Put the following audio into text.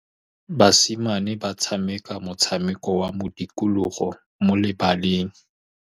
Basimane ba tshameka motshameko wa modikologô mo lebaleng.